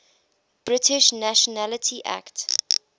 british nationality act